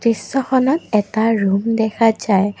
দৃশ্যখনত এটা ৰূম দেখা যায়।